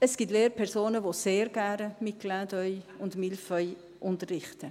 Es gibt Lehrpersonen, die sehr gerne mit «Clin d’œil» und «Mille feuilles» unterrichten.